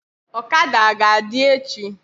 Ọkada aga adị echi?